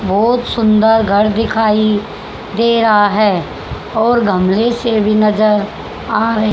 बहोत सुंदर घर दिखाइ दे रहा है और गमले से भी नजर आ रहे--